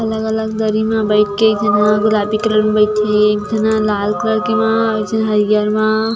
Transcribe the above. अलग अलग दरी में बैठ के एक झन गुलाबी कलर में बइठे एक झन ह लाल कलर मा एक झन ह हरियर मा --